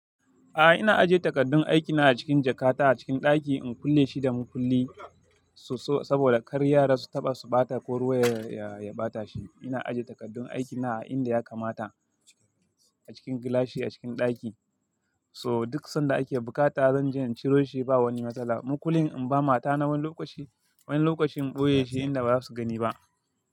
A ina ajiye takardun aikina a cikin jakata a cikin ɗaki in kulle shi da mukulli. So so saboda kar yara su taɓa su ɓata ko ruwa ya ɓata shi. Ina ajiye takardun aikina a inda ya kamata a cikin gilashi a cikin ɗaki. So duk sanda ake buƙata zanje ciro shi ba wani matsala. Makullin in ba mata na wani lokaci, wani lokacin boye shi inda ba za su gani ba.